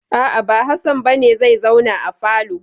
A'a, ba Hassan ba ne zai zauna a falo.